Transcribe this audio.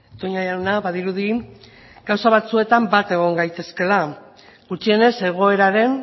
toña jauna badirudi gauza batzuetan bat egon gaitezkeela gutxienez egoeraren